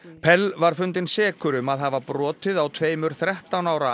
var fundinn sekur um að hafa brotið á tveimur þrettán ára